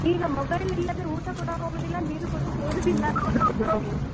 ಈಗ mobile ಇಲ್ಲದಿದ್ರೆ ಊಟ ಕೂಡ ಹೋಗುದಿಲ್ಲ ನೀರ್ ಕೂಡ ಸೇರುದಿಲ್ಲ.